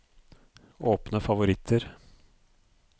åpne favoritter